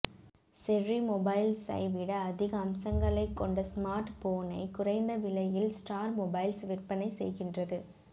cherry மொபைல்ஸை விட அதிக அம்சங்களை கொண்ட ஸ்மார்ட் போனை குறைந்த விலையில் ஸ்டார் மொபைல்ஸ் விற்பனை செய்கின்றது